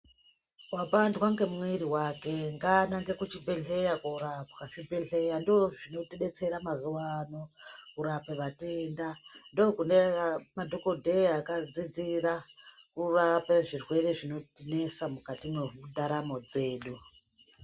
Vapandwa ngemwiri vake ngaanange kuchibhedhleya korapwa zvibhedhleya ndozvinotibetsera mazuva ano kurape matenda. Ndokune madhogodheya akadzidzira kurape zvirwere zvinotinesa mukati mwendaramo dzedu.